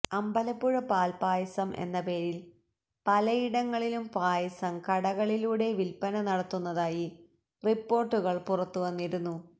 അമ്പലപ്പുഴ പാല്പ്പായസം എന്ന പേരില് പലയിടങ്ങളിലും പായസം കടകളിലൂടെ വില്പ്പന നടത്തുന്നതായി റിപ്പോര്ട്ടുകള് പുറത്തുവന്നിരുന്നു